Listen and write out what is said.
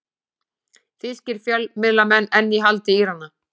Þýskir fjölmiðlamenn enn í haldi Írana